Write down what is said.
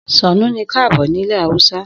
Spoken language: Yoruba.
Sannu ni kaabo ní ilẹ̀ Haúsá